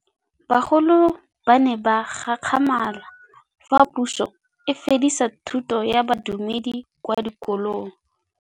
Bagolo ba ne ba gakgamala fa Pusô e fedisa thutô ya Bodumedi kwa dikolong.